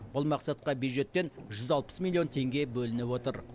бұл мақсатқа бюджеттен жүз алпыс миллион теңге бөлініп отыр